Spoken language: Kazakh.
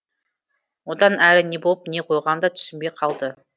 одан әрі не болып не қойғанын да түсінбей қалды